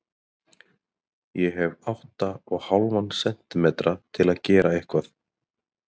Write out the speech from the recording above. Ég hef átta og hálfan sentímetra til að gera eitthvað.